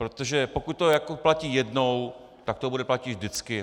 Protože pokud to platí jednou, tak to bude platit vždycky.